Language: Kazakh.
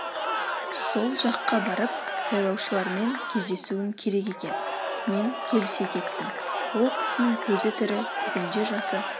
сол жаққа барып сайлаушылармен кездесуім керек екен мен келісе кеттім ол кісінің көзі тірі бүгінде жасы